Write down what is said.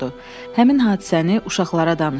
"Həmin hadisəni uşaqlara danışdım."